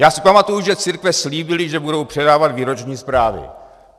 Já si pamatuji, že církve slíbily, že budou předávat výroční zprávy.